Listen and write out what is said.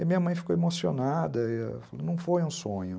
E minha mãe ficou emocionada e falou, não foi um sonho.